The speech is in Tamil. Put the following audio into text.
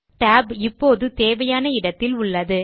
tab இப்போது தேவையான இடத்தில் உள்ளது